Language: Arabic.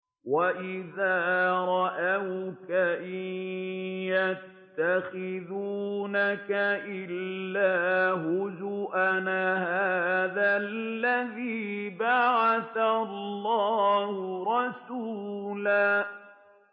وَإِذَا رَأَوْكَ إِن يَتَّخِذُونَكَ إِلَّا هُزُوًا أَهَٰذَا الَّذِي بَعَثَ اللَّهُ رَسُولًا